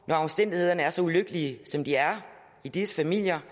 når omstændighederne er så ulykkelige som de er i disse familier